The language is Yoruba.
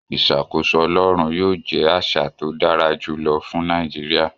Ìṣàkóso Ọlọ́run yóò jẹ́ àṣà tó dára jù lọ fún Nàìjíríà